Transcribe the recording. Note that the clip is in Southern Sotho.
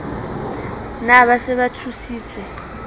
na ba se ba thusitswe